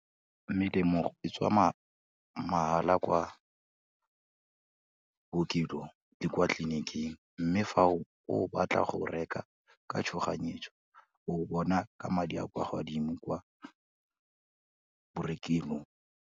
Melemo e tswa mahala kwa bookelong le kwa tleliniking, mme fa o batla go reka ka tshoganyetso, o bona ka madi a kwa godimo kwa borekelong.